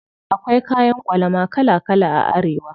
Akwai kayan ƙwalama kala kala a Arewa.